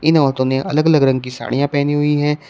इन औरतों ने अलग अलग रंग की साड़ियां पहनी हुई हैं।